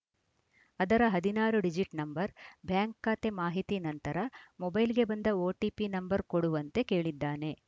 ಅದರ ಹದಿನಾರು digit number bank ಖಾತೆ ಮಾಹಿತಿ ನಂತರ ಮೊಬೈಲ್‌ಗೆ ಬಂದ ಓಟಿಪಿ ನಂಬರ್‌ ಕೊಡುವಂತೆ ಕೇಳಿದ್ದಾನೆ